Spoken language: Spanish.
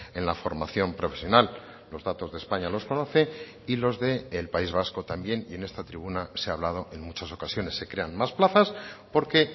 en la formación profesional los datos de españa los conoce y los del país vasco también y en esta tribuna se ha hablado en muchas ocasiones se crean más plazas porque